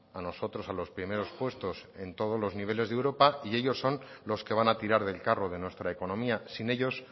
a nosotros a los primeros puestos en todos los niveles de europa y ellos son los que van a tirar del carro de nuestra economía sin ellos